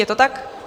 Je to tak?